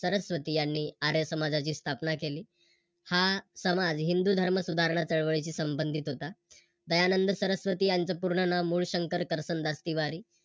सरस्वती यांनी आर्य समाजाची स्थापना केली. हा समाज हिंदू धर्मसुधारणा चळवळीशी संभंधित होता. दयानंद सरस्वती यांचं पूर्ण मूळशंकर कर्तन दास तिवारी